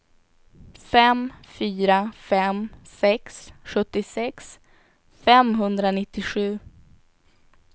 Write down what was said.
fem fyra fem sex sjuttiosex femhundranittiosju